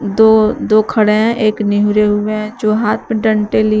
दो दो खड़े हैं एक निहूरे हुए हैं जो हाथ में डंटे लिए--